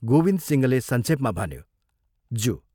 " गोविन्दसिंहले संक्षेपमा भन्यो, " ज्यू "।